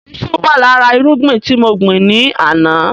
Iṣu wà lára irúgbìn tí mo gbin ni àná